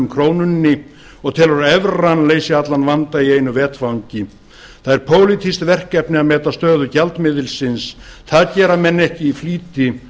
krónunni og telur að evran leysi allan vanda í einu vetfangi það er pólitískt verkefni að meta stöðu gjaldmiðilsins það gera menn ekki í flýti